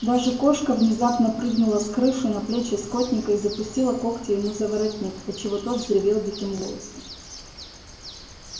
даже кошка внезапно прыгнула с крыши на плечи скотника и запустила когти ему за воротник отчего тот взревел диким голосом